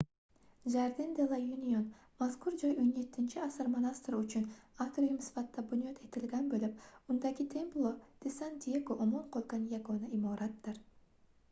jardin de la union mazkur joy 17-asr monastiri uchun atrium sifatida bunyod etilgan boʻlib undagi templo de san diego omon qolgan yagona imoratdir